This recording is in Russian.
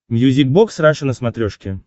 мьюзик бокс раша на смотрешке